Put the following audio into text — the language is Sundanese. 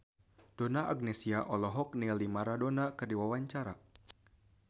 Donna Agnesia olohok ningali Maradona keur diwawancara